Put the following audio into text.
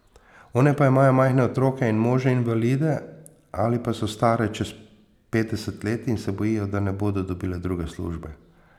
One pa imajo majhne otroke in može invalide ali pa so stare čez petdeset let in se bojijo, da ne bodo dobile druge službe.